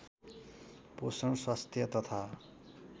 पोषण स्वास्थ्य तथा